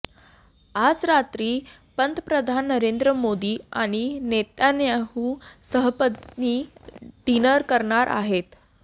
आज रात्री पंतप्रधान नरेंद्र मोदीं आणि नेतन्याहू सहपत्नी डिनर करणार आहेत